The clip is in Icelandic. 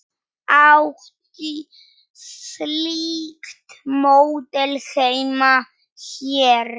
Ætti slíkt módel heima hér?